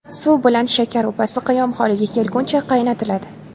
Suv bilan shakar upasi qiyom holiga kelguncha qaynatiladi.